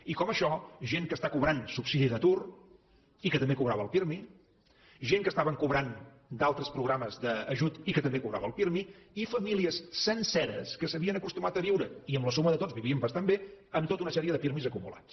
i com això gent que està cobrant subsidi d’atur i que també cobrava el pirmi gent que estaven cobrant d’altres programes d’ajut i que també cobrava el pirmi i famílies senceres que s’havien acostumat a viure i amb la suma de tots vivien bastant bé amb tota una sèrie de pirmi acumulats